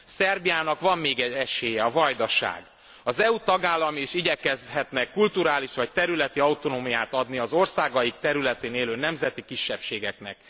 Szerbiának van még egy esélye a Vajdaság. Az EU tagállamai is igyekezhetnek kulturális vagy területi autonómiát adni az országaik területén élő nemzeti kisebbségeknek.